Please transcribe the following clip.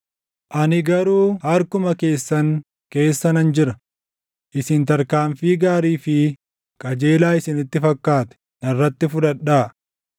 Ani garuu harkuma keessan keessa nan jira; isin tarkaanfii gaarii fi qajeelaa isinitti fakkaate narratti fudhadhaa.